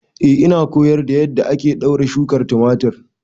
Eh ina koyar da yadda ake ɗaure shukar tumatir